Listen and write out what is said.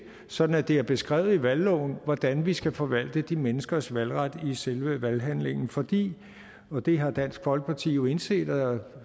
sådan at det er beskrevet i valgloven hvordan vi skal forvalte de menneskers valgret i selve valghandlingen fordi og det har dansk folkeparti jo indset og